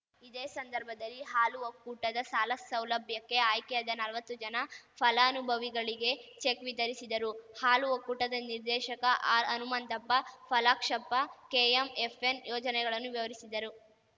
ಇದೇ ಸಂದರ್ಭದಲ್ಲಿ ಹಾಲು ಒಕ್ಕೂಟದ ಸಾಲ ಸೌಲಭ್ಯಕ್ಕೆ ಆಯ್ಕೆಯಾದ ನಲ್ವತ್ತು ಜನ ಫಲಾನುಭವಿಗಳಿಗೆ ಚೆಕ್‌ ವಿತರಿಸಿದರು ಹಾಲು ಒಕ್ಕೂಟದ ನಿರ್ದೇಶಕ ಆರ್ಹನುಮಂತಪ್ಪ ಪಾಲಾಕ್ಷಪ್ಪ ಕೆಎಂಎಫ್‌ನ ಯೋಜನೆಗಳನ್ನು ವಿವರಿಸಿದರು